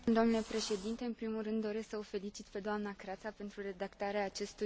În primul rând, doresc să o felicit pe doamna Kratsa pentru redactarea acestui raport.